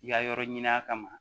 I ka yɔrɔ ɲin'a kama